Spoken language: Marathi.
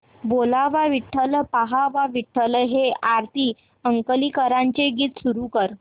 बोलावा विठ्ठल पहावा विठ्ठल हे आरती अंकलीकरांचे गीत सुरू कर